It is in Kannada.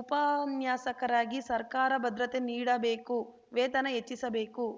ಉಪನ್ಯಾಸಕರಾಗಿ ಸರ್ಕಾರ ಭದ್ರತೆ ನೀಡಬೇಕು ವೇತನ ಹೆಚ್ಚಿಸಬೇಕು